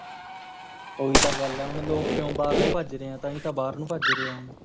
ਓਹੀ ਤਾਂ ਗੱਲ ਹੈ ਹੁਣ ਲੋਕ ਕਿਉ ਬਾਹਰ ਨੂੰ ਭੱਜ ਰਹੇ ਆਂ ਤਾਂਹੀ ਤਾਂ ਬਾਹਰ ਨੂੰ ਭੱਜ ਰਹੇ ਆਂ ਹੁਣ